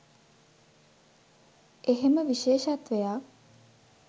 එහෙම විශේෂත්වයක්